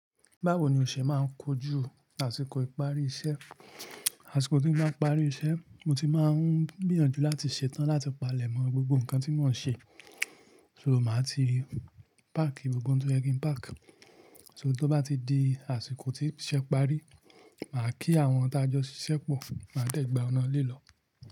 Báwo ni o ṣe máa ń kojú àsìkò ìparí iṣẹ́? Àsìkò tí mo bá parí iṣẹ́, mo ti máa ń gbìyànjú láti ṣetán láti palẹ̀mọ́ gbogbo nǹkan tí mò ń ṣe. So màá ti páàkì gbogbo ohun tó yẹ kí n páàkì. So tó bá ti di àsìkò tí iṣẹ́ parí, màá kí àwọn tájọ́ ṣiṣẹ́ pọ̀, màá dẹ gba ọ̀nà ile lọ.